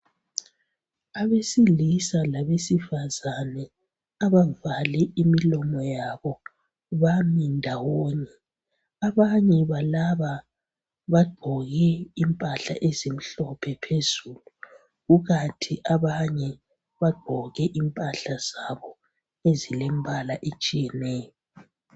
Abesilisa labesifazane abavale imilomo yabo bami ndawonye. Abanye balaba bagqoke impahla ezimhlophe phezulu ukathi abanye bagqoke impahla zabo ezilembala etshiyeneyo.